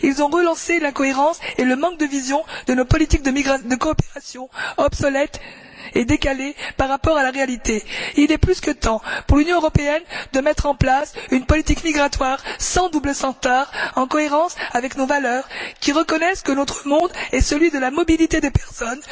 Ils ont à nouveau mis en évidence l'incohérence et le manque de vision de nos politiques de coopération obsolètes et décalées par rapport à la réalité. Il est plus que temps pour l'Union européenne de mettre en place une politique migratoire qui soit en cohérence avec nos valeurs, qui reconnaisse que notre monde est celui de la mobilité des personnes,